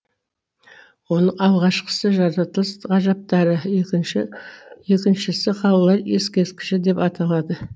оның алғашқасы жаратылыс ғажаптары екінші екіншісі қалалар ескерткіші деп аталады